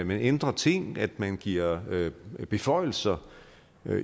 man ændrer ting at man giver beføjelser